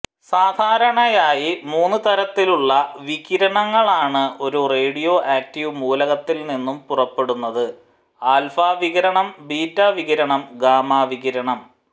സാധാരണയായി മൂന്നുതരത്തിലുള്ള വികിരണങ്ങളാണ് ഒരു റേഡിയോആക്റ്റീവ് മൂലകത്തിൽ നിന്നും പുറപ്പെടുന്നത് ആൽഫാ വികിരണം ബീറ്റാ വികിരണം ഗാമാ വികിരണം